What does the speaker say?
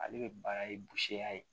Ale bɛ baara ye ya ye